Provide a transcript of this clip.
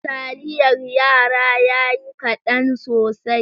Taliyar yara yayi kadan sosai.